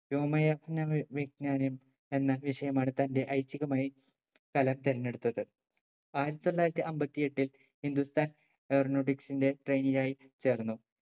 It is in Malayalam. വ്യോമയാർഞ്ഞ വിജ്ഞാനം എന്ന വിഷയമാണ് തന്റെ ഐച്ഛികമായി കലാം തെരഞ്ഞെടുത്തത് ആയിരത്തി തൊള്ളായിരത്തി അമ്പത്തിയെട്ടിൽ hindustan aeronautics ന്റെ trainee ആയി ചേർന്നു